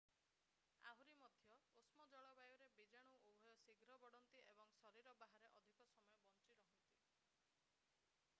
ଆହୁରି ମଧ୍ୟ ଉଷ୍ମ ଜଳବାୟୁରେ ବୀଜାଣୁ ଉଭୟ ଶୀଘ୍ର ବଢ଼ନ୍ତି ଏବଂ ଶରୀର ବାହାରେ ଅଧିକ ସମୟ ବଞ୍ଚିରହନ୍ତି